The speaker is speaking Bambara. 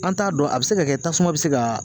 An t'a dɔn a bi se ka kɛ tasuma bi se ka.